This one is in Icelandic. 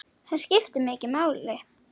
Það skiptir mig máli.